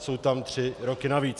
Jsou tam tři roky navíc.